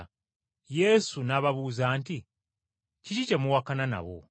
Yesu n’ababuuza nti, “Kiki kye muwakana nabo?”